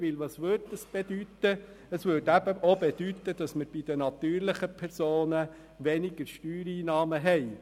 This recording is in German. Dies würde gleichzeitig bedeuten, dass wir von den natürlichen Personen weniger Steuereinnahmen erhielten.